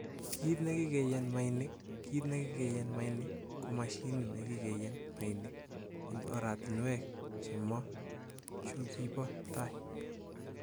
Kit nekikenyen mainik:Kit nekikenyen mainik ko mashinit nekikenyen mainik en oratinwek chemo chukibo tai.